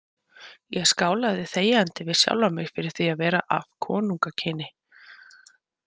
Ég skálaði þegjandi við sjálfan mig fyrir því að vera af konungakyni.